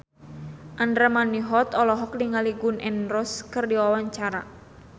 Andra Manihot olohok ningali Gun N Roses keur diwawancara